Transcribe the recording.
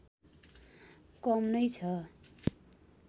कम नै छ